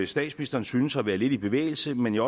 statsministeren synes at være lidt i bevægelse men jeg